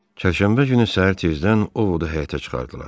Çərşənbə günü səhər tezdən Ovodu həyətə çıxardılar.